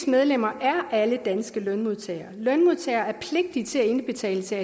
medlemmer er alle danske lønmodtagere lønmodtagere er pligtige til at indbetale til